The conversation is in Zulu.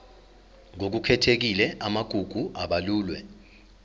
ngokukhethekile amagugu abalulwe